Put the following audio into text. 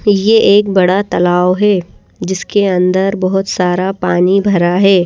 ये एक बड़ा तालाव है जिसके अंदर बहुत सारा पानी भरा है ।